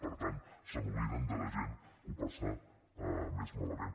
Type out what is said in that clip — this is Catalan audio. per tant s’obliden de la gent que ho passa més malament